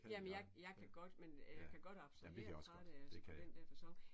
Jamen jeg jeg kan godt men jeg kan godt abstrahere fra det altså på den der facon